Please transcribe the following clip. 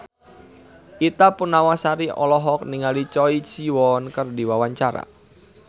Ita Purnamasari olohok ningali Choi Siwon keur diwawancara